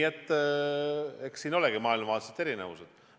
Eks siin olegi maailmavaatelised erinevused.